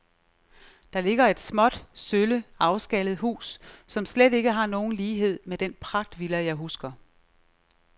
Der ligger et småt, sølle, afskallet hus, som slet ikke har nogen lighed med den pragtvilla, jeg husker.